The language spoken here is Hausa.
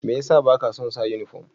Mai ya sa ba ka son sa uniform?